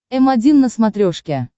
м один на смотрешке